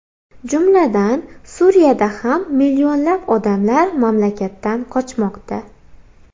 Jumladan, Suriyada ham millionlab odamlar mamlakatdan qochmoqda.